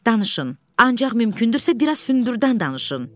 Danışın, ancaq mümkündürsə, biraz hündürdən danışın.